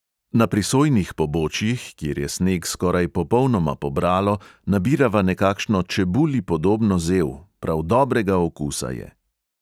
Na prisojnih pobočjih, kjer je sneg skoraj popolnoma pobralo, nabirava nekakšno čebuli podobno zel, prav dobrega okusa je.